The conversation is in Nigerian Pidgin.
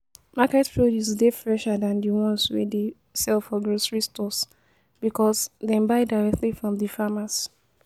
Market produce dey fresher than di ones wey dey sell for grocery stores because dem buy directly from di farmers.